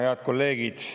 Head kolleegid!